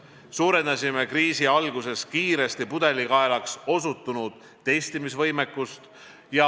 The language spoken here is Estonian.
Suurendasime kriisi alguses kiiresti pudelikaelaks osutunud testimisvõimekust.